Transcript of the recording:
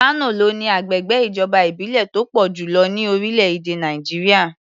Kano ló ní agbègbè ìjọba ìbílẹ̀ tó pọ̀ jù lọ ní orílẹ̀-èdè Nàìjíríà.